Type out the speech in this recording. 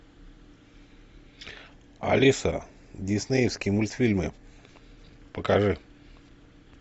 алиса диснеевские мультфильмы покажи